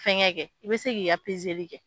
Fɛn kɛ, i bɛ se k'i ka kɛ.